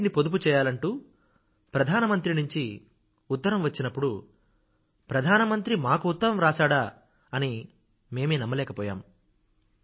నీటిని పొదుపు చేయాలంటూ ప్రధానమంత్రి నుంచి ఉత్తరం వచ్చినప్పుడు ప్రధానమంత్రి మనకు ఉత్తరం వ్రాశాడంటే మా చెవులను మేమే నమ్మలేకపోయాము